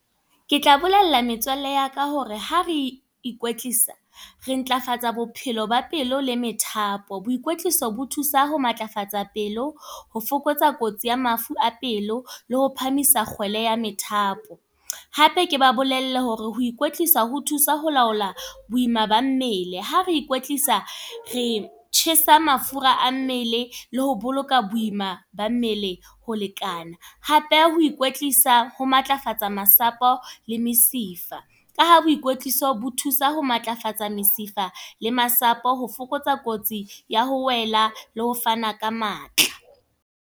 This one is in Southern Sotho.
Ke tla bolella metswalle ya ka hore ha re ikwetlisa, re ntlafatsang bophelo ba pelo le methapo. Boikwetliso bo thusa ho matlafatsa pelo, ho fokotsa kotsi ya mafu a pelo, le ho phahamisang kgwele ya methapo. Hape ke ba bolelle hore ho ikwetlisa ho thusa ho laola boima ba mmele. Ha re ikwetlisa re tjhesa mafura a mmele, le ho boloka boima ba mmele, ho lekana. Hape pheha ho ikwetlisa ho matlafatsa masapo, le mesifa. Ka ha boikwetliso ho thusa ho matlafatsa mesifa le masapo, ho fokotsa kotsi ya ho wela le ho fana ka matla.